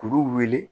Kuru wele